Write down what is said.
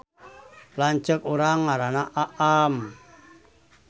Lanceuk urang ngaranna Aam